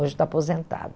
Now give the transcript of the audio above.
Hoje está